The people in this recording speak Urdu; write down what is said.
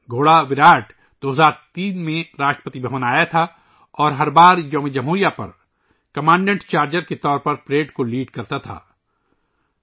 گھوڑا وِراٹ 2003 ء میں راشٹرپتی بھون میں آیا تھا اور ہر بار یوم جمہوریہ پر کمانڈنٹ چارجر کے طور پر پریڈ کی قیادت کرتاتھا